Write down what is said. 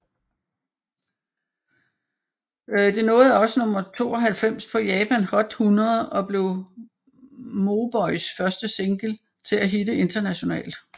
Det nåede også nummer 92 på Japan Hot 100 og blev Mauboys første single til at hitte internationalt